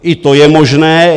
I to je možné.